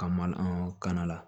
Ka maka la